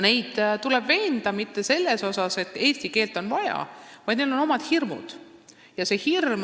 Neid ei tule veenda selles, et eesti keelt on vaja, neil on omad hirmud.